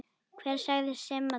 Hver sagði Simma það?